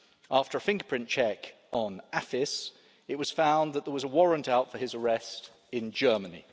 After a fingerprint check on AFIS, it was found that there was a warrant out for his arrest in Germany.